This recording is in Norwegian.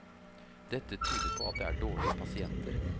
Dette tyder på at det er dårlige pasienter.